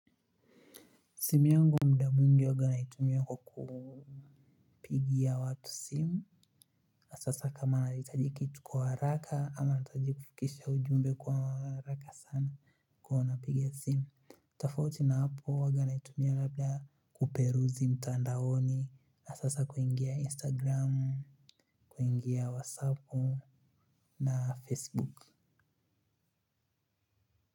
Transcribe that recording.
Simu yungu mda mwingi huaga naitumia kwa kupigia watu simu na sasa kama naitaji kitu kwa haraka ama naitaji kufikisha ujumbe kwa haraka sana kwa iyo napiga simu. Tafauti na hapo huwaga naitumia labda kuperuzi mtandaoni na sasa kuingia instagram kuingia wasapu na facebook.